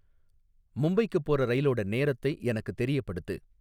மும்பைக்கு போகுற ரயிலோட நேரத்தை எனக்குத் தெரியப்படுத்து